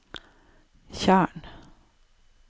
tjern